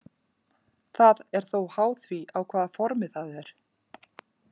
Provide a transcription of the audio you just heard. Það er þó háð því á hvaða formi það er.